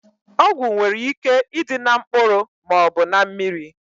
Ọgwụ nwere ike ịdị na mkpụrụ maọbụ na mmiri